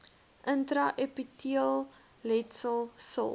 intra epiteelletsel sil